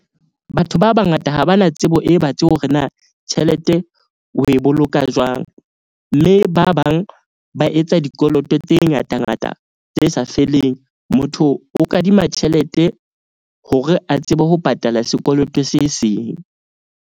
Batho ba bangata ha ba na tsebo e batsi hore na tjhelete o e boloka jwang. Mme ba bang ba etsa dikoloto tse ngata ngata tse sa feleng. Motho o kadima tjhelete hore a tsebe ho patala sekoloto se seng.